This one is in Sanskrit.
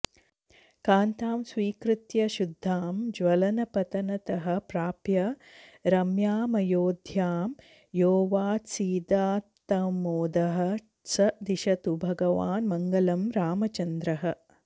कान्तां स्वीकृत्य शुद्धां ज्वलनपतनतः प्राप्य रम्यामयोध्यां योऽवात्सीदात्तमोदः स दिशतु भगवान् मङ्गलं रामचन्द्रः